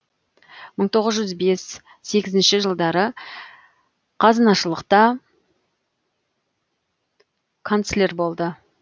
мың тоғыз жүз бес сегізінші жылдары қазынашылықтта канцлер болды